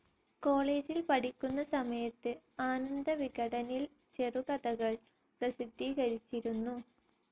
കോളേജിൽ പഠിക്കുന്ന സമയത്ത് ആനന്ദ വികടനിൽ ചെറുകഥകൾ പ്രസിദ്ധീകരിച്ചിരുന്നു.